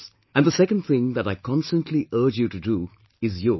And the second thing that I constantly urge you to do is Yog